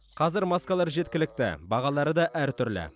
қазір маскалар жеткілікті бағалары да әртүрлі